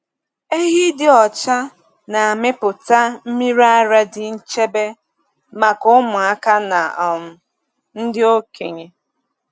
um Ehi dị ọcha na-amịpụta mmiri ara dị nchebe maka ụmụaka na um ndị okenye.